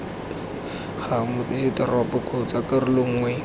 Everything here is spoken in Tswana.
ga motsesetoropo kgotsa karolo nngwe